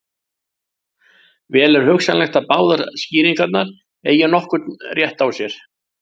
Vel er hugsanlegt að báðar skýringarnar eigi nokkurn rétt á sér.